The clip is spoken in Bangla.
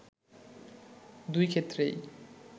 দুই ক্ষেত্রেই